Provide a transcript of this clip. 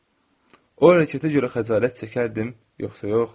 O hərəkətə görə xəcalət çəkərdim yoxsa yox?